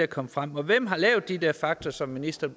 kommet frem og hvem har lavet de der fakta som ministeren